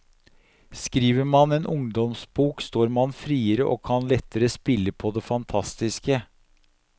Skriver man en ungdomsbok står man friere og kan lettere spille på det fantastiske.